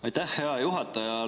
Aitäh, hea juhataja!